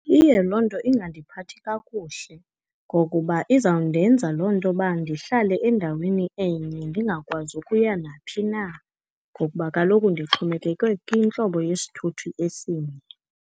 Iye loo nto ingandiphathi kakuhle ngokuba izawundenza loo nto uba ndihlale endaweni enye, ndingakwazi ukuya naphi na, ngokuba kaloku ndixhomekeke kwintlobo yesithuthi esinye.